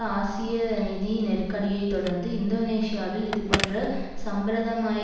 ஆசிய நிதி நெருக்கடியை தொடர்ந்து இந்தோனேஷியாவில் இதுபோன்ற சம்பிரதமாய